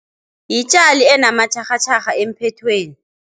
Yitjali enamatjharhatjharha emphethweni.